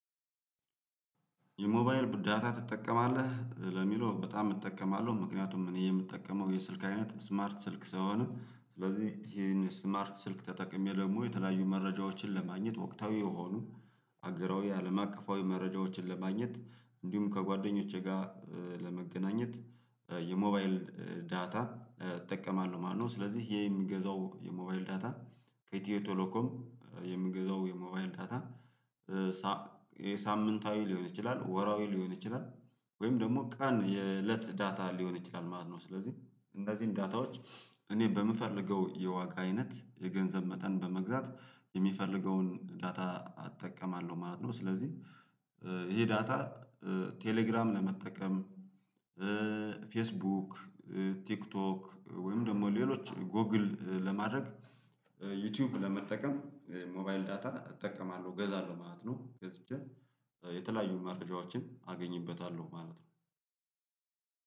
የሞባይል ዳታ ትጠቀማለህ ለሚለው በጣም እጠቀማለሁ ምክንያቱም እኔ የምጠቀመው የስልክ አይነት ስማርት ስልክ ስለሆን ስለዚህ ይሄን ስማርት ስልክ ተጠቅሜ ደግሞ የተለያዩ መረጃዎችን ለማግኘት ወቅታዊ የሆኑ አገራዊ አለም አቀፋዊ መረጃዎችን ለማግኘት እንዲሁም ከጓደኞቼ ጋር ለመገናኘት የሞባይል ዳታ እጠቀማለሁ ማለት ነው። ስለዚህ ይሄ የምገዛው የሞባይል ዳታ ከኢትዬ ቶሎኮም የምገዛው የሞባይል ዳታ የሳምንታዊ ሊሆን ይችላል ወራዊ ሊሆን ይችላል ወይም ደግሞ ቀን የእለት ዳታ ሊሆን ይችላል ማለት ነው። ስለዚህ እንዚህን ዳታዎች እኔ በምፈልገው የዋጋ አይነት የገንዘብ መጠን በመግዛት የሚፈልገውን ዳታ እጠቀማለሁ ማለት ነው። ስለዚህ ይሄ ዳታ ቴሌግራም ለመጠቀም ፌስቡክ ቲክቶክ ወይም ደግሞ ሌሎች ጎግል ለማድረግ ዩቲዩብ ለመጠቀም የሞባይል ዳታ እጠቀማለሁ እገዛለሁ ማለት ነው። ገዝቼ የተለያዩ መረጃዎችን አገኝበታለሁ ማለት ነው።